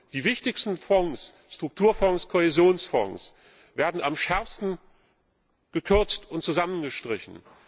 Die wichtigsten Fonds Strukturfonds, Kohäsionsfonds werden am schärfsten gekürzt und zusammengestrichen.